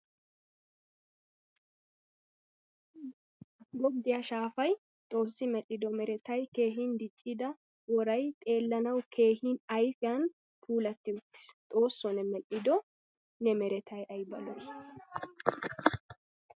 Gogiyaa shaafay xoossi medhdhido meretay keehin diccida woray xeellanawu keehin ayfiyan puulati uttiis. Xoossoo ne medhdhido ne meretay ayba lo'i!